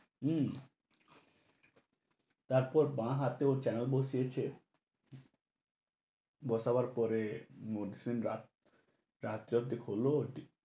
হু, তারপর বা হাতে ওর canal বসিয়েছে। বসাবার পরে ও খোলো